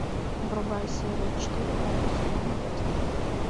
врубай серию четыре первого сезона декстер